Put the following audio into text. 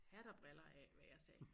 Hat og briller af hvad jeg sagde